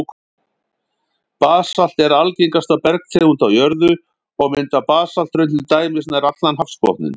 Basalt er algengasta bergtegund á jörðu, og mynda basalthraun til dæmis nær allan hafsbotninn.